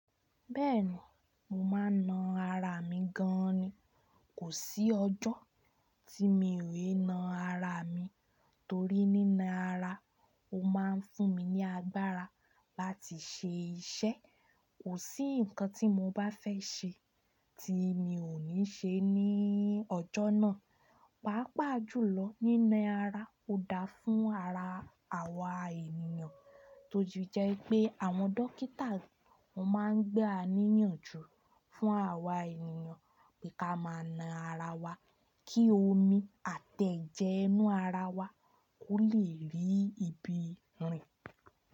Bẹ́ẹ̀ni, mò máa ń na ara mi gan ni. Kò sí ọjọ́ tí mi ò lè na ara mi torí nína ara ò máa ń fún mi ní agbára láti ṣe iṣẹ́. Kò sí nǹkan tí mò bá fẹ́ ṣe tí mi ò ní ṣe ní ọjọ́ náà. Pàápàá jùlọ, nína ara ò dáa fún ara àwa ènìyàn, tójú jẹ́ pé àwọn dókítà ló máa ń gbé àníyàn jù fún àwa ènìyàn pé ká máa na ara wa kí omi àtẹ́jẹ́ inú ara wa ó lè rí ibi rìn.